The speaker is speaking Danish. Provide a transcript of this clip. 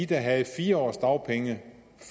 der havde fire års dagpenge